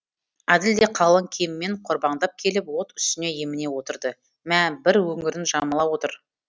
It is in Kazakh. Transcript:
әділ де қалың киіммен қорбаңдап келіп от үстіне еміне отырды мә бір өңірін жамыла отыр